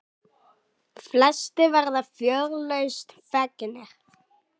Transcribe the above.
Flestir verða fjörlausn fegnir.